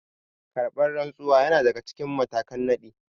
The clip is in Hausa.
Karɓar rantsuwa yana daga cikin matakan nadi